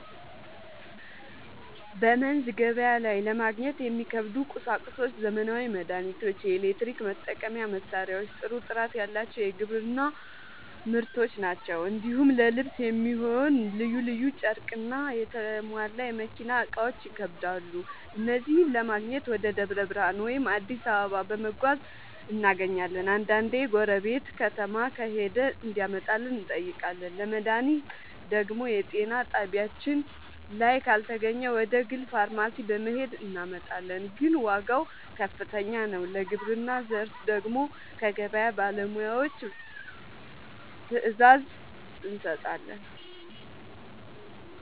በመንዝ ገበያ ላይ ለማግኘት የሚከብዱ ቁሳቁሶች ዘመናዊ መድሃኒቶች፣ የኤሌክትሪክ መጠቀሚያ መሳሪያዎችና ጥሩ ጥራት ያለው የግብርና ᛢል ናቸው። እንዲሁም ለልብስ የሚሆን ልዩ ልዩ ጨርቅና የተሟላ የመኪና እቃዎች ይከብዳሉ። እነዚህን ለማግኘት ወደ ደብረ ብርሃን ወይም አዲስ አበባ በመጓዝ እናገኛለን፤ አንዳንዴ ጎረቤት ከተማ ከሄደ እንዲያመጣልን እንጠይቃለን። ለመድሃኒት ደግሞ የጤና ጣቢያችን ላይ ካልተገኘ ወደ ግል ፋርማሲ በመሄድ እናመጣለን፤ ግን ዋጋው ከፍተኛ ነው። ለግብርና ዘር ደግሞ ከገበያ ባለሙያዎች ትዕዛዝ እንሰጣለን።